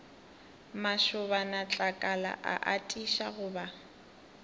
mašobanatlakala a atiša go ba